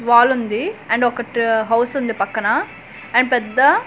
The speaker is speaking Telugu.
వాలుంది అండ్ ఒకట్ హౌస్ ఉంది పక్కన అండ్ పెద్ద--